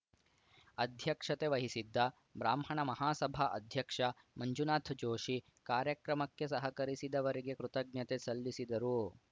ಅಧ್ಯಕ್ಷತೆ ವಹಿಸಿದ್ದ ಬ್ರಾಹ್ಮಣ ಮಹಾಸಭಾ ಅಧ್ಯಕ್ಷ ಮಂಜುನಾಥ ಜೋಷಿ ಕಾರ್ಯಕ್ರಮಕ್ಕೆ ಸಹಕರಿಸಿದವರಿಗೆ ಕೃತಜ್ಞತೆ ಸಲ್ಲಿಸಿದರು